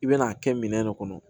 I bɛn'a kɛ minɛn de kɔnɔ